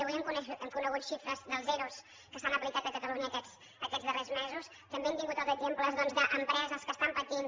avui hem conegut xifres dels ero que s’han aplicat a catalunya aquests darrers mesos també hem tingut els exemples doncs d’empreses que estan patint